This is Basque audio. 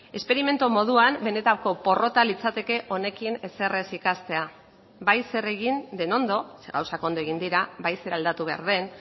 esperimentu moduan benetako porrota litzateke honekin ezer ez ikastea bai zer egin den ondo ze gauzak ondo egin dira bai zer aldatu behar den